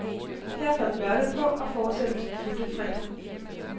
Her faldt mørket på, og fortsættelsen fulgte fredag.